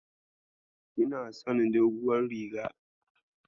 Kina son doguwar rigar.